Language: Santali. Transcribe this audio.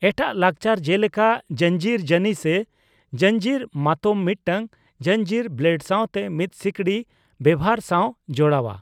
ᱮᱴᱟᱜ ᱞᱟᱠᱪᱟᱨ ᱡᱮᱞᱮᱠᱟ ᱡᱚᱧᱡᱤᱨ ᱡᱟᱱᱤ ᱥᱮ ᱡᱚᱧᱡᱤᱨ ᱢᱟᱛᱚᱢ ᱢᱤᱫᱴᱟᱝ ᱡᱚᱧᱡᱤᱨ (ᱵᱞᱮᱰ ᱥᱟᱣᱛᱮ ᱢᱤᱫ ᱥᱤᱠᱲᱤ) ᱵᱮᱣᱦᱟᱨ ᱥᱟᱣ ᱡᱚᱲᱟᱣᱟ ᱾